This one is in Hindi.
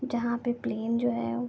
जहाँ पे प्लेन जो है --